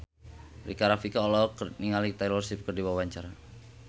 Rika Rafika olohok ningali Taylor Swift keur diwawancara